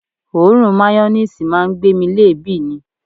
Òórùn mayoníìsì máa ń gbé mi léèébì ni